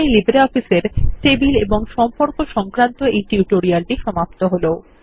এখানেই LibreOffice এর এই টেবিল এবং সম্পর্ক সংক্রান্ত এই টিউটোরিয়ালটি সমাপ্ত হল